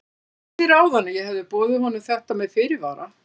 Ég sagði þér áðan að ég hefði boðið honum þetta með fyrirvara.